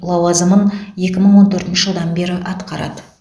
лауазымын екі мың он төртінші жылдан бері атқарады